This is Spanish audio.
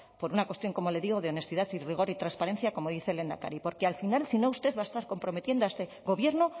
por una cuestión como le digo de honestidad y rigor y transparencia como dice el lehendakari porque al final si no usted va a estar comprometiendo a este gobierno